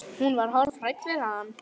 Hún var hálf hrædd við hann.